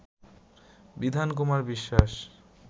বিধান কুমার বিশ্বাস